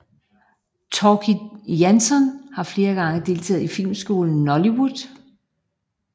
Tóki Jansson har flere gange deltaget i filmskolen Nóllywood